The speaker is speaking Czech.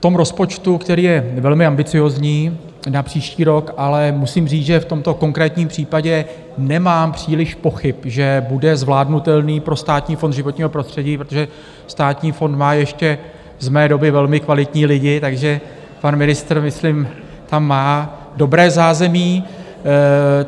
V tom rozpočtu, který je velmi ambiciózní na příští rok, ale musím říct, že v tomto konkrétním případě nemám příliš pochyb, že bude zvládnutelný pro Státní fond životního prostředí, protože Státní fond má ještě z mé doby velmi kvalitní lidi, takže pan ministr myslím tam má dobré zázemí.